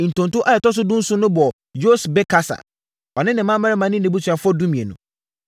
Ntonto a ɛtɔ so dunson no bɔɔ Yosbekasa, ɔne ne mmammarima ne nʼabusuafoɔ (12)